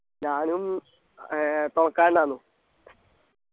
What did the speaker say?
ഞാനും ഏർ